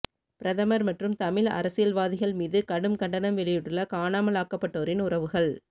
பிரதமர் மற்றும் தமிழ் அரசியல்வாதிகள் மீது கடும் கண்டனம் வெளியிட்டுள்ள காணாமலாக்கப்பட்டோரின் உறவுகள்